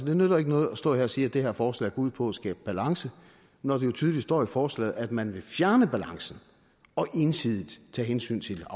det nytter ikke noget at stå her og sige at det her forslag går ud på at skabe balance når det jo tydeligt står i forslaget at man vil fjerne balancen og ensidigt tage hensyn til